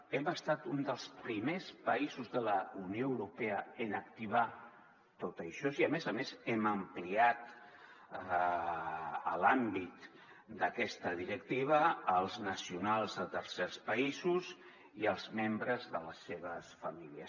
hem estat un dels primers països de la unió europea en activar tot això i a més a més hem ampliat l’àmbit d’aquesta directiva als nacionals de tercers països i als membres de les seves famílies